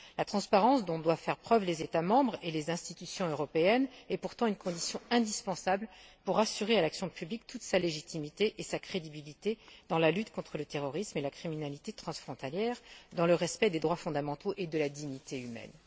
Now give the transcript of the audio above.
La transparence dont doivent faire preuve les États membres et les institutions européennes est pourtant une condition indispensable pour assurer à l'action publique toute sa légitimité et sa crédibilité dans la lutte contre le terrorisme et la criminalité transfrontalière, dans le respect des droits fondamentaux et de la dignité humaine.